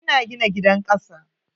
Ina gina gidan kasa.